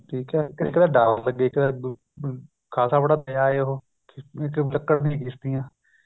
ਠੀਕ ਏ ਇੱਕ ਤਾਂ ਡਰ ਲੱਗੇ ਇੱਕ ਤਾਂ ਖ਼ਾਸਾ ਬੜਾ ਲੇ ਆਏ ਉਹ